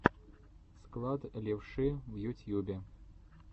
склад левши в ютьюбе